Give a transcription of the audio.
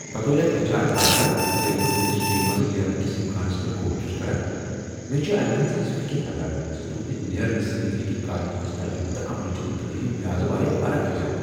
بطور اکھ H R partner, ییٚلہ بہٕ تہنٛدس ٹیمہ منٛزٕ نیرنہٕ کس امکانس پیٹھ غور چھس کران، مےٚ چھےٚ امہ کتھ ہٕنٛز فکر لگان ز تہنٛد نیرنہٕ سۭتۍ ہیٚکہ کامہ ہنٛد تجربہٕ تہٕ علمٕچ منتقلی ہٕنٛد لحاظٕ واریاہ فرق پیتھ